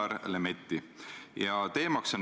Nii et need on need tegevused.